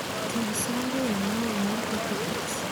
Tug sango ya mawa mar papi tex